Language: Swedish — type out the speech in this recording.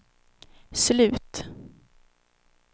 slut